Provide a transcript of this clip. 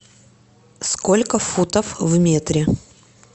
сколько футов в метре